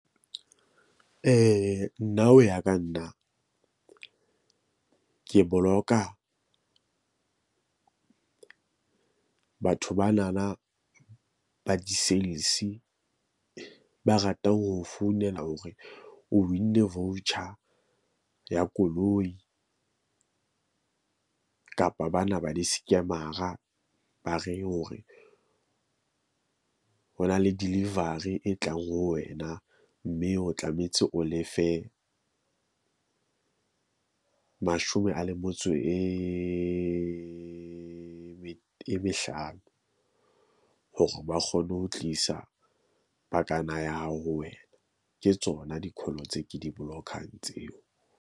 Nna ho ya ka nna ke boloka batho ba na na ba di-sales. Ba ratang ho founela hore o win-ne voucher ya koloi kapa bana ba di-scammer-a, ba re hore ho na le delivery e tlang ho wena, mme o tlametse o lefe mashome a le metso e, e mehlano hore ba kgone ho tlisa pakana ya hao ho wena. Ke tsona di call-o tse ke di block-ang tseo.